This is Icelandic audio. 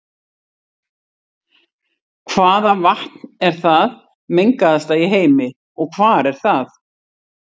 Hvaða vatn er það mengaðasta í heimi og hvar er það?